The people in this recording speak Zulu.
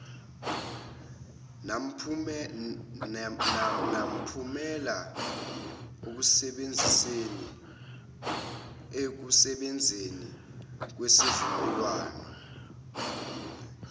namphumela ekusebenzeni kwesivumelwan